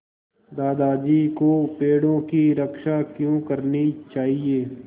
दादाजी को पेड़ों की रक्षा क्यों करनी चाहिए